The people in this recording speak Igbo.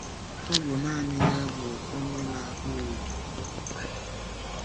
Ọ bụ nanị ya bụ Onye na-akpụ ugwu niile.